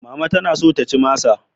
Mama tana so ta ci masa.